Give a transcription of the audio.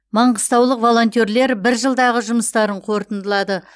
маңғыстаулық волонтерлер бір жылдағы жұмыстарын қорытындылады